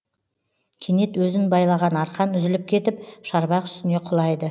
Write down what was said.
кенет өзін байлаған арқан үзіліп кетіп шарбақ үстіне құлайды